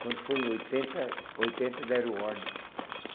Quando foi em oitenta, oitenta deram ordem.